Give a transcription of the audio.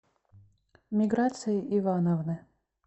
миграции ивановны